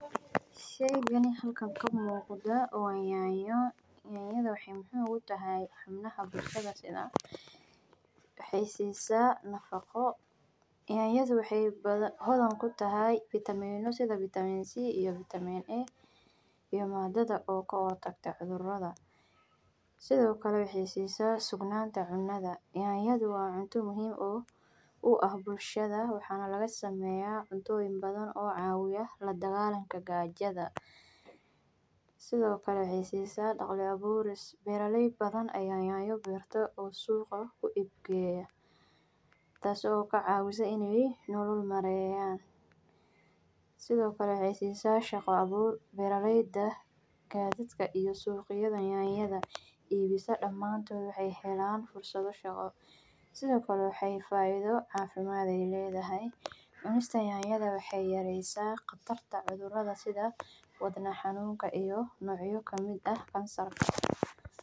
Sheygani halkani ka muqdaa waa nyanyo nyanyada maxee muhiim utahay xubnaha bulshaada sitha waxee sisa nafaqo nyanyadhu waxee hodhan kutahay vitameno sitha vitamin C iyo vitamin A iyo madadha kahortagta cudhuraada, sithokale waxee sisa sugnanta cunadha nyanyada waa cunto muhiim oo u ah bulshaada waxana laga sameya cuntoyin badan oo cawiya ladagalanka sithokale waxee sisa nyanya berto oo suqa ku geya tas oo ka cawisa in ee nolol mareyan sithokale waxee sisa shaqo abur beera leyda aya dadka iyo suqyaada ibisa damantodha waxee helan shaqo sithokale waxee ledhahay cafimaad cunista nyanyaada waxee yareysa qatarta wadnaha sitha wadna xanunka ito nocya kamiid ah cansarka.